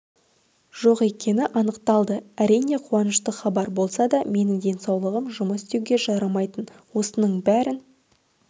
жоқ екені анықталды әрине қуанышты хабар болса да менің денсаулығым жұмыс істеуге жарамайтын осының бәрін